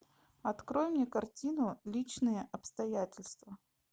открой мне картину личные обстоятельства